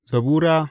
Zabura Sura